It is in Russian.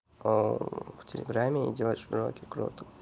в телеграме делаешь уроки круто